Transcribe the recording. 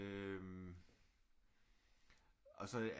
Øh og så